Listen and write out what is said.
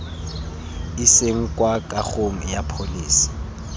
iseng kwa kagong ya pholese